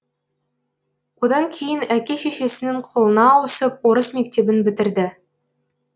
одан кейін әке шешесінің қолына ауысып орыс мектебін бітірді